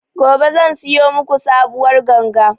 Gobe zan siyo maku sabuwar ganga